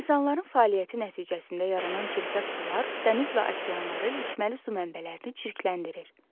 İnsanların fəaliyyəti nəticəsində yaranan çirkəb sular dəniz və okeanları, içməli su mənbələrini çirkləndirir.